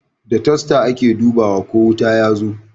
Da tasta ake dubawa ko wuta yazo